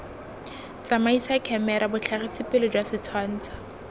tsamaisa khemera botlhagisipele jwa setshwansho